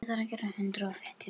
Þau eiga Heklu Sól.